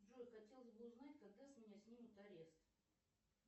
джой хотелось бы узнать когда с меня снимут арест